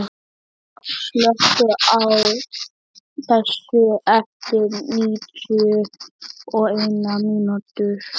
Ylva, slökktu á þessu eftir níutíu og eina mínútur.